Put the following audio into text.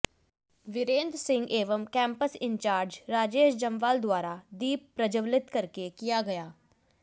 विरेंद्र सिंह एवं campus incharge Rajesh Jamwal द्वारा दीप प्रज्वलित करके किया गया